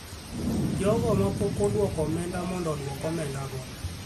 jogo ma pok odwoko omenda mondo odwok omendago.